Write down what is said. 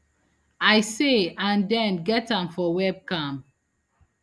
i say and den get am for webcam